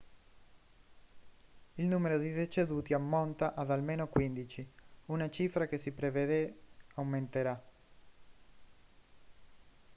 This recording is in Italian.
il numero di deceduti ammonta ad almeno 15 una cifra che si prevede aumenterà